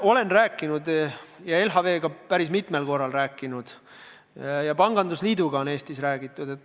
Olen LHV-ga päris mitmel korral rääkinud ja pangandusliiduga on Eestis räägitud.